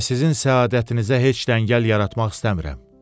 Və sizin səadətinizi heç əngəl yaratmaq istəmirəm.